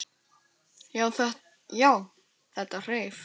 Já, þetta hreif!